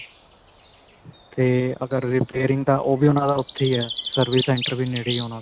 ਤੇ ਅਗਰ repairing ਦਾ ਓਹ ਵੀ ਉਨ੍ਹਾਂ ਦਾ ਉੱਥੇ ਹੀ ਹੈ, service center ਵੀ ਨੇੜੇ ਹੀ ਹੈ ਉਨ੍ਹਾਂ ਦਾ.